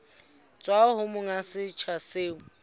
tswa ho monga setsha seo